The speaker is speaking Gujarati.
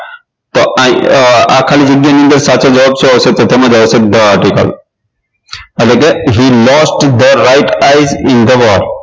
આ ખાલી જગ્યાની અંદર સાચો જવાબ શું આવશે તો આવશે the article એટલે કે he lost the right i in the world